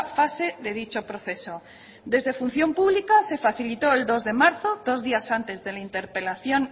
fase de dicho proceso desde función pública se facilitó el dos de marzo dos días antes de la interpelación